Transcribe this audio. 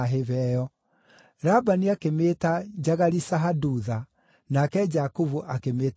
Labani akĩmĩĩta Jagari-Sahadutha, nake Jakubu akĩmĩĩta Galeedi.